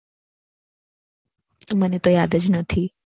મને તો યાદ જ નથી.